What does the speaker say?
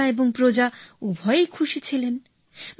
রাজা এবং প্রজা উভয়েই খুশি ছিলেন